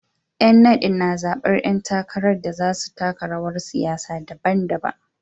Yan nadin na zabar ‘yan takarar da za su taka rawar siyasa daban-daban.